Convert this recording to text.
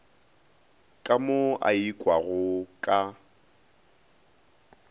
ka mo a ikwago ka